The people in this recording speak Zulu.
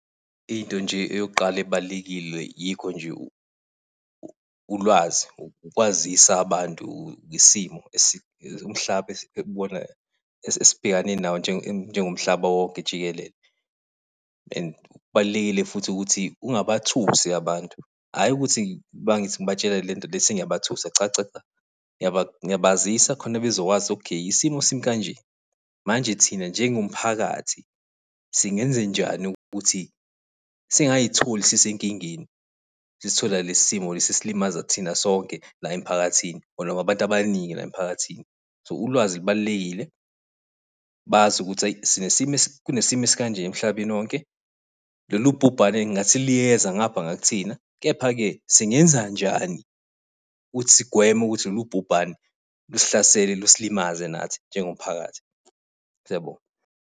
Into nje eyokuqala ebalulekile yikho nje ulwazi, ukwazisa abantu ngesimo esibhekane nawo njengomhlaba wonke jikelele. And kubalulekile futhi ukuthi ungabathusi abantu, hhayi ukuthi mangithi ngibatshela lento le sengiyabathusa, cha cha. Ngiyabazisa khona bezokwazi okay isimo simi kanje, manje thina njengomphakathi, singenzenjani ukuthi singay'tholi sisenkingeni? Sesithola lesi simo lesi sesilimaza thina sonke la emphakathini, abantu abaningi la emphakathini. So, ulwazi lubalulekile, bazi ukuthi eyi sinesimo, kunesimo esikanje emhlabeni wonke, lolu bhubhane ngathi liyeza ngapha ngakuthina, kepha-ke singenza njani ukuthi sigweme ukuthi lolu bhubhane lusihlasele, lusilimaze nathi njengomphakathi. Siyabonga.